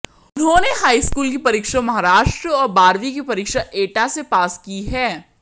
उन्होंने हाईस्कूल की परीक्षा महाराष्ट्र और बारहवीं की परीक्षा एटा से पास की है